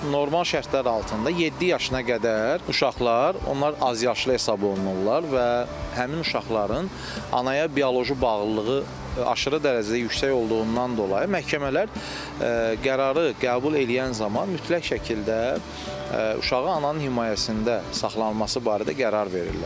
Normal şərtlər altında yeddi yaşına qədər uşaqlar, onlar azyaşlı hesab olunurlar və həmin uşaqların anaya bioloji bağlılığı aşırı dərəcədə yüksək olduğundan dolayı məhkəmələr qərarı qəbul eləyən zaman mütləq şəkildə uşağı ananın himayəsində saxlanılması barədə qərar verirlər.